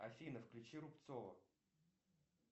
афина включи рубцова